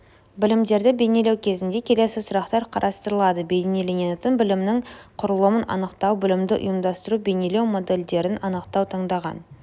білімдерді бейнелеу кезінде келесі сұрақтар қарастырылады бейнеленетін білімнің құрылымын анықтау білімді ұйымдастыру бейнелеу моделдерін анықтау таңдалған